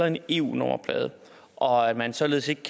en eu nummerplade og at man således ikke